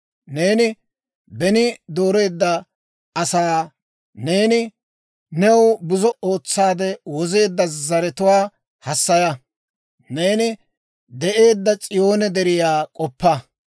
Neeni beni dooreedda asaa, neeni new buzo ootsaade wozeedda zaratuwaa hassaya. Neeni de'eedda S'iyoone deriyaa k'oppa.